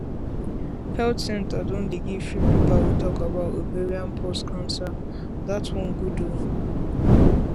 health centre don dey give free paper wey tallk about ovarian pause cancer that one good ooo